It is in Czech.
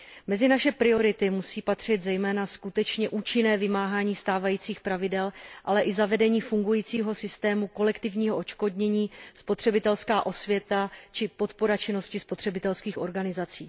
Mezi naše priority musí patřit zejména skutečně účinné vymáhání stávajících pravidel, ale i zavedení fungujícího systému kolektivního odškodnění, spotřebitelská osvěta či podpora činnosti spotřebitelských organizací.